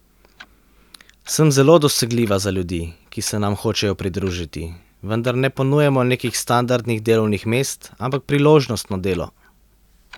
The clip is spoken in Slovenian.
Sem zelo dosegljiva za ljudi, ki se nam hočejo pridružiti, vendar ne ponujamo nekih standardnih delovnih mest, ampak priložnostno delo.